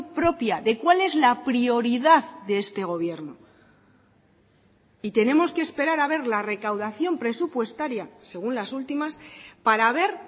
propia de cuál es la prioridad de este gobierno y tenemos que esperar a ver la recaudación presupuestaria según las últimas para ver